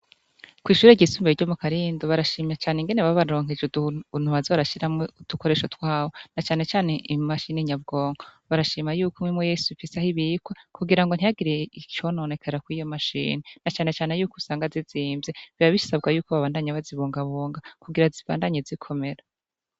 Kw'ishure ryisumbiye ryo mu karindu barashima cane ingene babaronkeje utuntu baza barashiramwo udukoresho twabo na canecane imashine nyabwonko barashima yuko imwe imwe yose ifise aho ibikwa kugira ngo ntihagire icononekera kwiyo mashine na canecane yuko usanga zizimvye biba bisabwa yuko babandanya bazi bungabunga kugira zibandanye zikomera.